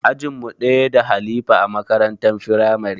Ajin mu ɗaya da halifa a makarantar firamare